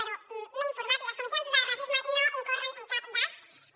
però m’he informat i les comissions de racisme no incorren en cap despesa